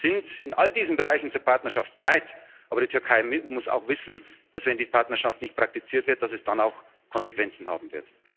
Wir sind in all diesen Bereichen zur Partnerschaft bereit, aber die Türkei muss auch wissen, dass, wenn die Partnerschaft nicht praktiziert wird, es dann auch Konsequenzen haben wird.